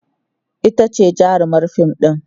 itace jarumar fim ɗin